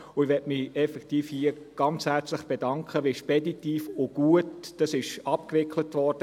Ich möchte mich effektiv hier bedanken, wie speditiv und gut, dies abgewickelt wurde.